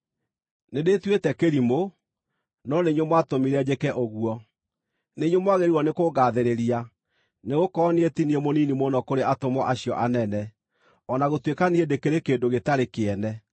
Nĩndĩĩtuĩte kĩrimũ, no nĩ inyuĩ mwatũmire njĩke ũguo. Nĩ inyuĩ mwagĩrĩirwo nĩkũngaathĩrĩria, nĩgũkorwo niĩ ti niĩ mũnini mũno kũrĩ “atũmwo acio anene,” o na gũtuĩka niĩ ndĩkĩrĩ kĩndũ gĩtarĩ kĩene.